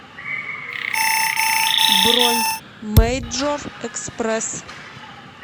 бронь мэйджор экспресс